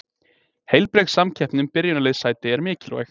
Heilbrigð samkeppni um byrjunarliðssæti er mikilvæg.